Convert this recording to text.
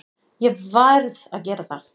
Ég verð að gera það.